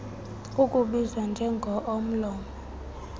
ukubizwa njengo omlomo